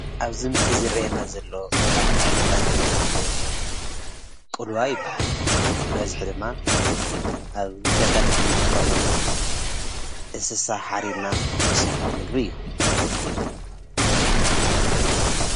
ኣብዚ ምስሊ ዝረአየና ዘሎ ካብ ዓይነታት ምግቢ ኮይኑ ቁልዋ ይባሃል፡፡ ብበዝሒ ድማ ኣብ ገጠር እንጥቀመሉ እንስሳ ሓሪድና እንሰርሖ ምግቢ እዩ፡፡